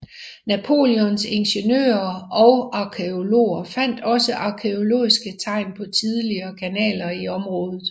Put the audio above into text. Napoleons ingeniører og arkæologer fandt også arkæologiske tegn på tidligere kanaler i området